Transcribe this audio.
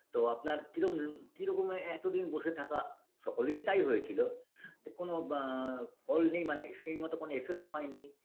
তো আপনার কিরম কিরকমে এতদিন বসে থাকা সকলেরই তাই হয়েছিল তা কোনো বা ফল নেই মানে সেই মতো কোনো effect হয়নি